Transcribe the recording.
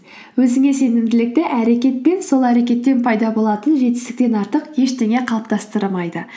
өзіңе сенімділікті әрекетпен сол әрекеттен пайда болатын жетістіктен артық ештеңе қалыптыстырамайды